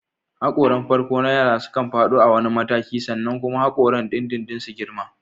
Haƙoran farko na yara sukan faɗo a wani mataki sannan kuma haƙoran dindindin su girma.